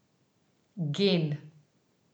Gen.